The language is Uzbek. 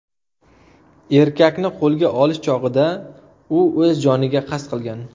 Erkakni qo‘lga olish chog‘ida u o‘z joniga qasd qilgan .